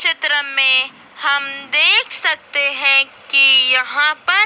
चित्र में हम देख सकते हैं कि यहां पर--